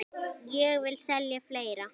Og ég vil selja fleira.